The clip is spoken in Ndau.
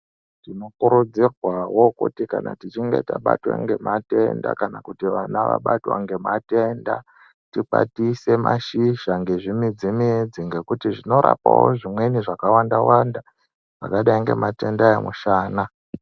Tinokurudzirwawo kuti kana tichinge tabatwa ngematenda kana kuti vana vabatwa ngematenda tikwatise mashizha ngezvimidzi midzi ngekuti zvinorapawo zvimweni zvakawanda wanda zvakadai ngematenda emushana.